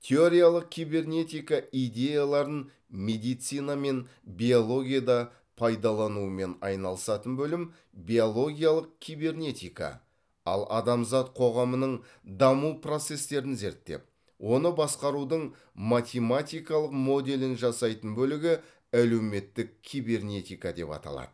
теориялық кибернетика идеяларын медицина мен биологияда пайдаланумен айналысатын бөлім биологиялық кибернетика ал адамзат қоғамының даму процестерін зерттеп оны басқарудың математикалық моделін жасайтын бөлігі әлеуметтік кибернетика деп аталады